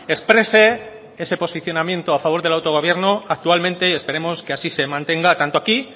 exprese ese posicionamiento a favor del autogobierno actualmente y esperemos que así se mantenga tanto aquí